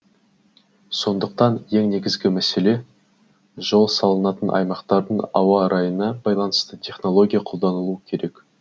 сондықтан ең негізгі мәселе жол салынатын аймақтың ауа райына байланысты технология қолдану керек